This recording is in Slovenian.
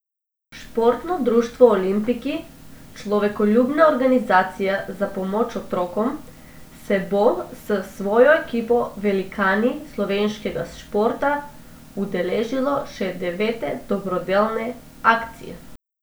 Športno društvo Olimpiki, človekoljubna organizacija za pomoč otrokom, se bo s svojo ekipo Velikani slovenskega športa udeležilo še devete dobrodelne akcije.